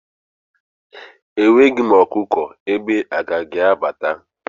Enweghị m ọkụkọ, egbe agaghi abata